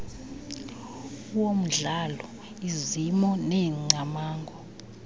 womdlalo izimo neengcamango